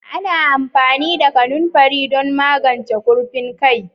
Ana amfani da kanunfari don magance kurfin kai.